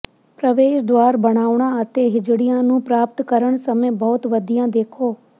ਪ੍ਰਵੇਸ਼ ਦੁਆਰ ਬਣਾਉਣਾ ਅਤੇ ਹਿਜੜਿਆਂ ਨੂੰ ਪ੍ਰਾਪਤ ਕਰਨ ਸਮੇਂ ਬਹੁਤ ਵਧੀਆ ਦੇਖੋ